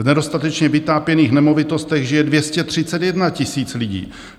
V nedostatečně vytápěných nemovitostech žije 231 000 lidí.